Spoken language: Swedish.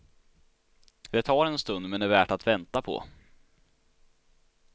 Det tar en stund men är värt att vänta på.